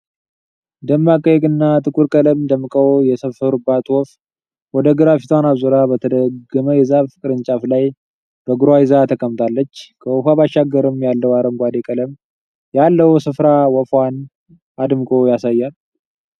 ደማቅ ቀይ እና ጥቁር ቀለም ደምቀው የሰፈሩባት ወፍ ወደ ግራ ፊቷን አዙራ በተጋደመ የዛፍ ቅርንጫፍ ላይ በእግሯ ይዛ ተቀምጣለች። ከወፏ ባሻገርም ያለው አረንጓዴ ቀለም ያለው ስፍራ ወፏን አድምቆ ያሳያል።